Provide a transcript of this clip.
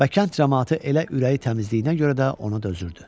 Və kənd camaatı elə ürəyi təmizliyinə görə də ona dözürdü.